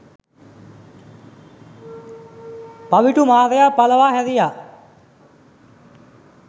පවිටු මාරයා පලවා හැරියා